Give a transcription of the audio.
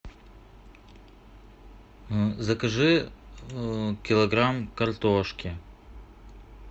закажи килограмм картошки